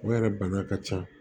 O yɛrɛ bana ka ca